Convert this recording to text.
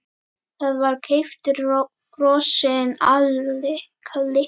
Það var keyptur frosinn kalli.